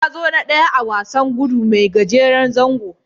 Ya zo na ɗaya a wasan gudu mai gajeren zango.